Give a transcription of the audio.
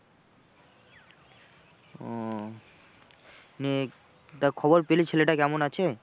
ও নিয়ে তা খবর পেলি ছেলেটা কেমন আছে?